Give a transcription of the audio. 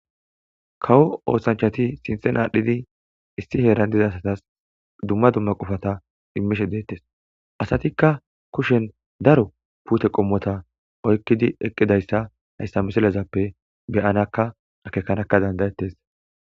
Kawo oosanchati sinthen aadhdhidi issi heeran diza satas dumma dumma qofata immishe deettes. Asatikka kushen daro puute qommota oykkidi eqqidayssa hayssa misilezappe be'anakka akeekanakka danda'ettes.